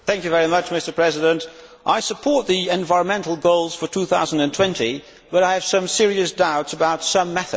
Mr President, I support the environmental goals for 2020, but I have some serious doubts about some methods.